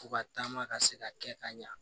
Fo ka taama ka se ka kɛ ka ɲa